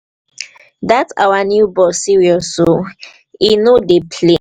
dat our new boss serious oo he no dey play